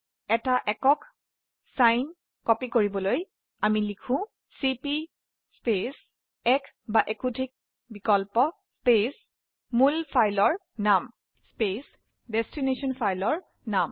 এটি একক ফাইল প্ৰতিলিপি কৰাৰ বাবে লিখক চিপি স্পেচ এক বা একাধিক বিকল্প স্পেচ মূল ফাইল ৰ নাম স্পেচ প্ৰতিলিপিৰ ফাইল ৰ নাম